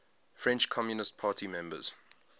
french communist party members